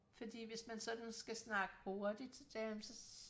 fordi hvis man sådan skal snakke hurtigt så så